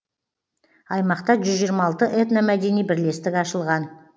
аймақта жүз жиырма алты этномәдени бірлестік ашылған